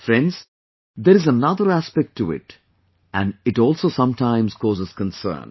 But friends, there is another aspect to it and it also sometimes causes concern